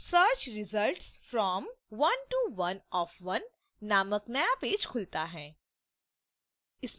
search results from 1 to 1 of 1 नामक नया page खुलता है